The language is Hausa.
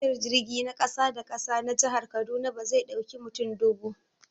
Tashar jirgi na ƙasa-da-ƙasa na jihar kaduna bazai dauƙi mutum dubu